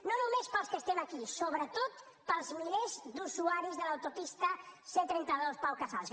no només per als que estem aquí sobretot per als milers d’usuaris de l’autopista ctrenta dos pau casals